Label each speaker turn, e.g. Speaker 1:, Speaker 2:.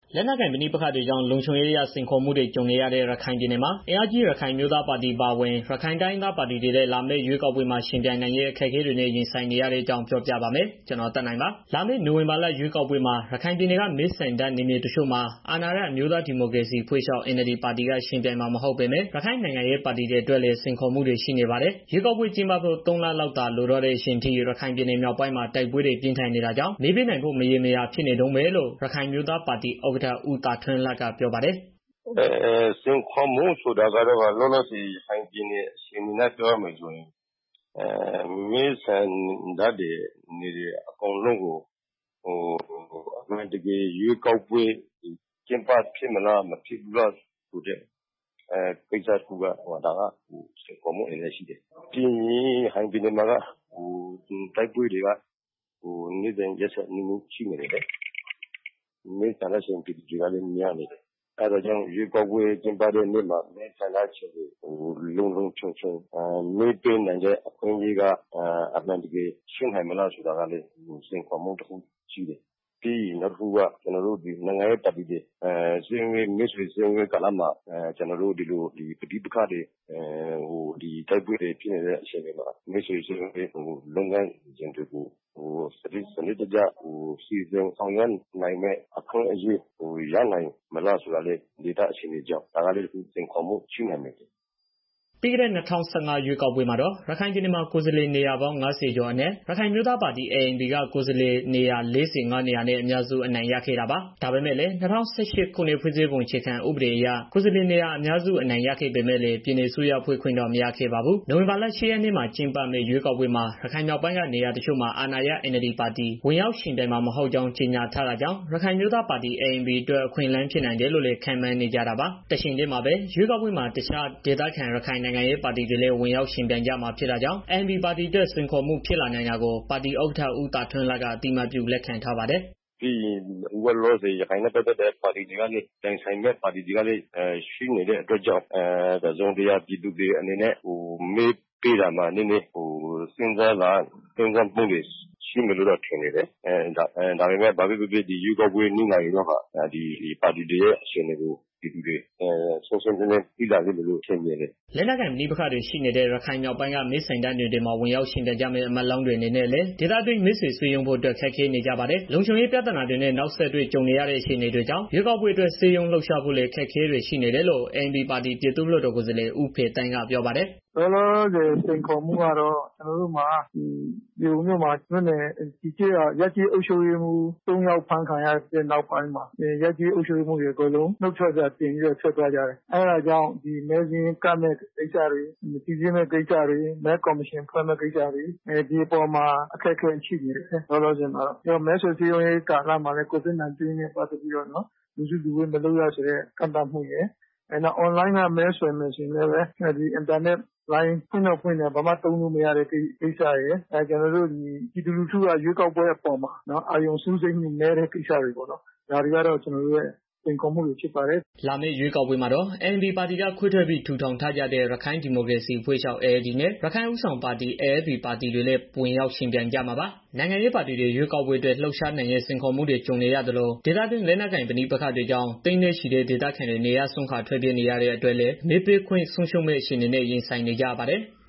Speaker 1: လက်နက်ကိုင် ပဋိပက္ခတွေကြောင့် လုံခြုံရေးအရ စိန်ခေါ်မှုတွေ ကြုံနေရတဲ့ ရခိုင်ပြည်နယ်မှာ အင်အားကြီး ရခိုင်အမျိုးသားပါတီအပါအဝင် ရခိုင်တိုင်းရင်းသားပါတီတွေ လာမယ့်ရွေးကောက်ပွဲမှာ ယှဉ်ပြိုင်နိုင်ရေး အခက်အခဲတွေနဲ့ ရင်ဆိုင်နေရတဲ့အကြောင်း ပြောပြပါမယ်။ ဗွီအိုအေမြန်မာပိုင်းသတင်းထောက် ကိုသက်နိုင်က သတင်းပေးပို့ထားပါတယ်။ လာမယ့် နိုဝင်ဘာ ရွေးကောက်ပွဲမှာ ရခိုင်ပြည်နယ်က မဲဆန္ဒနယ်မြေတချို့မှာ အာဏာရ အမျိုးသား ဒီမိုကရေစီအဖွဲ့ချုပ် (NLD) ပါတီက ယှဉ်ပြိုင်မှာ မဟုတ်ပေမဲ့ ရခိုင်နိုင်ငံရေး ပါတီတွေ အတွက်လည်း စိန်ခေါ်မှုတွေ ရှိနေပါတယ်။ ရွေးကောက်ပွဲကျင်းပဖို့ ၃ လလောက်သာ လိုတော့တဲ့ အချိန်အထိ ရခိုင်ပြည်နယ်မြောက်ပိုင်း မှာ တိုက်ပွဲတွေ ပြင်းထန်နေတာကြောင့် မဲပေးနိုင်ဖို့ မရေမရာ ဖြစ်နေတုန်းပဲလို့ လည်း ရခိုင်အမျိုးသားပါတီ ANP ဥက္ကဋ္ဌ ဦးသာထွန်းလှက ပြောပါတယ်။
Speaker 2: "လောလောဆယ် ရခိုင်ပြည်နယ်အနေအထားအရ ပြောရမယ်ဆိုရင် မဲဆန္ဒနယ်အကုန်လုံးကို အမှန်တကယ် ရွေးကောက်ပွဲ ကျင်းပဖြစ်မလား၊ မကျင်းပဖြစ်ဘူးလားဆိုတဲ့ ကိစ္စတစ်ခုကို စိန်ခေါ်မှုဖြစ်တယ်။ ပြီးတော့ ရခိုင်ပြည်နယ်မှာက တိုက်ပွဲတွေက နေ့စဉ်ရက်ဆက်ဆိုသလို ရှိနေတယ်။ စစ်ဘေးရှောင်မဲဆန္ဒရှင်ပြည် သူတွေကလည်း များနေတယ်။ အဲဒါကြောင့် ရွေးကောက်ပွဲ ကျင်းပတဲ့နေ့မှာ မဲဆန္ဒရှင်တွေ လုံလုံခြုံခြုံ မဲပေးနိုင်တဲ့ အခွင့်အရေးက အမှန်တကယ် ရှိနိုင်မလားဆိုတာကလည်း စိန်ခေါ်မှု တစ်ခုပေါ့နော်။ ပြီးတော့ နိုင်ငံရေး ပါတီတွေ မဲဆွယ်စည်းရုံးရေး ကာလတစ်ခုမှာ တိုက်ပွဲတွေ ရှိနေမယ် ဆိုရင် မဲဆွယ်စည်းရုံးရေးအတွက် သေသေချာချာ လုပ်နိုင်မလားဆိုတာကလည်း စိန်ခေါ်မှု တစ်ခုဖြစ် တယ်။"
Speaker 1: ပြီးခဲ့တဲ့ ၂၀၁၅ ရွေးကောက်ပွဲမှာတော့ ရခိုင်ပြည်နယ်မှာ ကိုယ်စားလှယ်နေရာပေါင်း ၅၀ ကျော်အနက် ရခိုင်အမျိုးသားပါတီ (ANP) က ကိုယ်စားလှယ်နေရာ ၄၅ နေရာနဲ့ အများစု အနိုင်ရခဲ့တာပါ။ ဒါပေမဲ့လည်း ၂၀၀၈ ခုနှစ် ဖွဲ့စည်းပုံ အခြေခံဥပဒေအရ ကိုယ်စားလှယ်နေရာ အများစု အနိုင်ရပေမဲ့လည်း ပြည်နယ်အစိုးရဖွဲ့ခွင့်တော့ မရခဲ့ပါဘူး။ နိုဝင်ဘာလ ၈ ရက်နေ့မှာ ကျင်းပမယ့် ရွေးကောက်ပွဲမှာ ရခိုင်မြောက်ပိုင်းက နေရာတချို့ မှာ အာဏာရ NLD ပါတီ ဝင်ရောက်ယှဉ်ပြိုင်မှာ မဟုတ်ကြောင်း ကြေညာထားတာ ကြောင့် ရခိုင်အမျိုးသားပါတီ ANP အတွက် အခွင့်အလမ်း ဖြစ်နိုင်တယ်လို့လည်း ခန့်မှန်းနေကြတာပါ။ တချိန်တည်းမှာပဲ ရွေးကောက်ပွဲမှာ အခြားဒေသခံရခိုင်နိုင်ငံရေး ပါတီတွေလည်း ဝင်ရောက်ယှဉ်ကြ မှာဖြစ်တာကြောင့် ANP ပါတီအတွက် စိန်ခေါ်မှု ဖြစ်လာနိုင်တာကို ပါတီဥက္ကဋ္ဌ ဦးသာထွန်းလှက အသိအမှတ်ပြု လက်ခံထားပါတယ်။ "
Speaker 2: လောလောဆယ်ရခိုင်မှာ တခြား ရခိုင်ပါတီတွေ ယှဉ်ပြိုင်မယ့် အနေအထားမှာရှိနေတော့ တစ်စုံတစ်ရာ ပြည်သူတွေ အနေနဲ့ မဲပေးတာမှာ စဉ်းစားမှုတွေ ရှိမယ်လို့တော့ ထင်တယ်။ ဒါပေမယ့် ရွေးကောက်ပွဲ နီးရင်တော့ ပါတီတွေရဲ့ အခြေအနေကို ပြည်သူတွေ ရှင်းရှင်းလင်းလင်းသိလာလိမ့်မယ်လို့ ယုံကြည်တယ်
Speaker 3: ။" လက်နက်
Speaker 1: ကိုင်ပဋိပက္ခတွေ ရှိနေတဲ့ ရခိုင်မြောက်ပိုင်းက မဲဆန္ဒနယ်တွေမှာ ဝင်ရောက်ယှဉ်ပြိုင်ကြမယ့် အမတ်လောင်းတွေအနေနဲ့လည်း ဒေသတွင်း မဲဆွယ်စည်းရုံးဖို့အတွက် ခက်ခဲနေကြပါတယ်။ လုံခြုံရေးပြဿနာတွေနဲ့ နောက်ဆက်တွဲ ကြုံနေရတဲ့ အခြေအနေတွေကြောင့် ရွေးကောက်ပွဲအတွက် စည်းရုံးလှုပ်ရှားဖို့လည်း အခက်အခဲတွေ ရှိနေတယ်လို့ ANP ပါတီ ပြည်သူ့လွှတ်တော်ကိုယ်စားလှယ် ဦးဖေသန်းက ပြောပါတယ်။
Speaker 3: "မြေပုံမြို့မှာ ရပ်ကျေးအုပ်ချုပ်ရေးမှူး သုံးယောက်အဖမ်းခံရတဲ့ နောက်ပိုင်းမှာ အုပ်ချုပ်ရေးမှူးတွေ အကုန်လုံး နုတ်ထွက်စာတင်ပြီးတော့ နုတ်ထွက်သွားကြတယ်။ အဲဒါကြောင့်မဲစာရင်းကပ်မယ့်ကိစ္စတွေ၊ စိစစ်မယ့်ကိစ္စတွေ၊ မဲကော်မရှင်ဖွဲ့မယ့်ကိစ္စတွေ အခက်အခဲရှိနေတယ် လောလောဆယ်မှာ ပြီးတော့ မဲဆွယ်စည်းရုံးရေး ကာလမှာလဲ COVID -19 ကြောင့် လူမစုရတို့ ရှိနေတယ်။ ပြီးတော့ online က မဲဆွယ်မယ်ဆိုရင်လည်း အင်တာနက်လိုင်း ဖွင့်တော့ ဖွင့်တယ် ဘာမှသုံးမရဆိုလေ။ ပြီးတော့ ပြည်သူလူထုက ရွေးကောက်ပွဲပေါ်မှာ အာရုံစူးစိုက်မှု နည်းပါးနေတာတွေကတော့ ကျနော်တို့ရဲ့ စိန်ခေါ်မှုတွေပေါ့နော်။" လာမယ့် ရွေးကောက်ပွဲမှာတော့
Speaker 1: ANP ပါတီက ခွဲထွက်ပြီး ထူထောင်ထားကြတဲ့ ရခိုင်ဒီမိုကရေစီအဖွဲ့ ချုပ် (ALD) နဲ့ ရခိုင်ဦးဆောင်ပါတီ (AFP) ပါတီတွေလည်း ဝင်ရောက် ယှဉ်ပြိုင်ကြမှာပါ။ နိုင်ငံရေးပါတီတွေ ရွေးကောက်ပွဲအတွက် လှုပ်ရှားနိုင်ရေး စိန်ခေါ်မှုတွေ ကြုံနေရသလို ဒေသတွင်း လက်နက်ကိုင် ပဋိပက္ခတွေကြောင့် သိန်းနဲ့ချီတဲ့ ဒေသခံတွေ နေရပ်စွန့်ခွာ ထွက်ပြေးနေရတဲ့အတွက်လည်း မဲပေးခွင့် ဆုံးရှုံးမယ့် အခြေအနေနဲ့ ရင်ဆိုင်နေကြရပါတယ်။